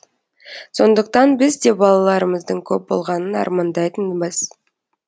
сондықтан біз де балаларымыздың көп болғанын армандайтынбыз